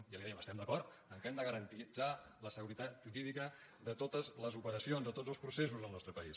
i li dèiem estem d’acord que hem de garantir la seguretat jurídica de totes les operacions o tots els processos al nostre país